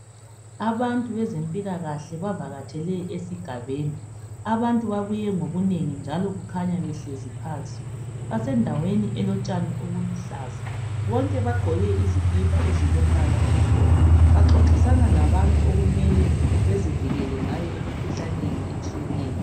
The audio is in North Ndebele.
Abantu bezempilakahle bavakatshele esigabeni abantu babuye ngobunengi njalo kukhanya behlezi phansi basendaweni elotshani obuluhlaza bonke bagqoke izikipa ezilombala omhlophe baxoxisana labantu okumele bezivikele ngayo emikhuhlaneni etshiyeneyo.